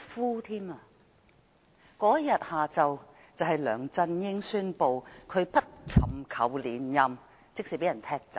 當天下午就是梁振英宣布不尋求連任的日子，即是說他被踢走。